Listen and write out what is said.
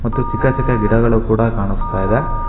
ಮತ್ತು ಚಿಕ್ಕ ಚಿಕ್ಕ ಗಿಡಗಳು ಕೂಡ ಕಾಣಿಸ್ತಾ ಇದೆ.